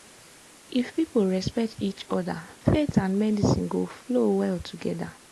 if people respect each other faith and medicine go flow well together.